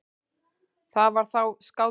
Það var þá skáldið.